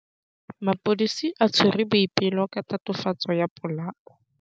Maphodisa a tshwere Boipelo ka tatofatsô ya polaô.